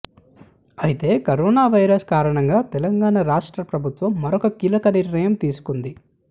అయితే corona virus కారణం గా తెలంగాణ రాష్ట్ర ప్రభుత్వం మరొక కీలక నిర్ణయం తీసుకుంది